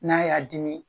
N'a y'a dimi